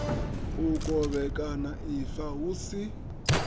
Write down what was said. u kovhekana ifa hu si